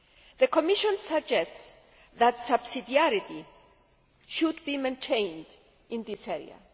The Commission suggests that subsidiarity should be maintained in this area.